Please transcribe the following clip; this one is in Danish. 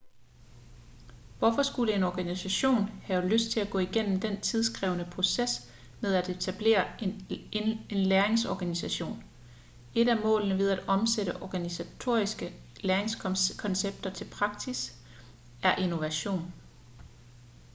hvorfor skulle en organisation have lyst til at gå igennem den tidskrævende proces med at etablere en læringsorganisation et af målene ved at omsætte organisatoriske læringskoncepter til praksis er innovation